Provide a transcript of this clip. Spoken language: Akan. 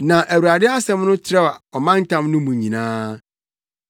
Na Awurade asɛm no trɛw ɔmantam no mu nyinaa.